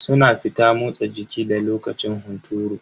Suna fita motsa jiki da lokacin hunturu.